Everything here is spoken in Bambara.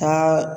Taa